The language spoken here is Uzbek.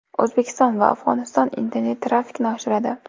O‘zbekiston va Afg‘oniston internet-trafikni oshiradi.